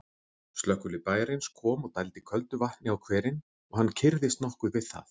Slökkvilið bæjarins kom og dældi köldu vatni á hverinn, og hann kyrrðist nokkuð við það.